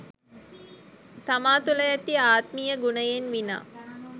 තමා තුළ ඇති ආත්මීය ගුණයෙන් විනා